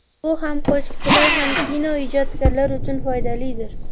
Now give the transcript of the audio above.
Bu ham qo‘shiqchilar, ham kino ijodkorlar uchun foydalidir.